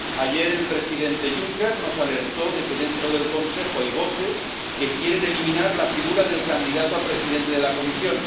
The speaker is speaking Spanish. Ayer el presidente Juncker nos alertó de que dentro del Consejo hay voces que quieren eliminar la figura del candidato a presidente de la Comisión.